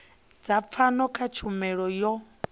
dza pfano kha tshumelo yo